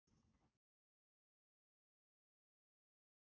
Lóa: En af hverju á að loka svæðinu?